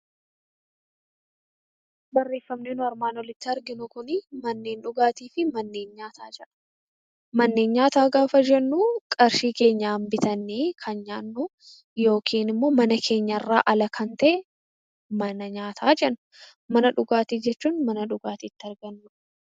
Manneen nyaataa gaafa jennu qarshii keenyaan bitannee kan nyaannu yookiin immoo mana keenyaan alamana nyaataa jenna. Mana dhugaatii jechuun immoo mana dhugaatiin itti argamudha.